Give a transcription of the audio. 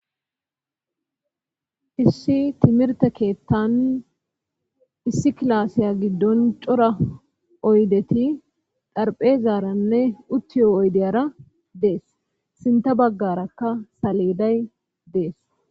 issi timirte keettan issi klaasiya giddon cora oydeti darphezaaranne uttiyo oydeyara dees sinta baggarakka saleeday dees